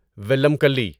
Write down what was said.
ولم کلی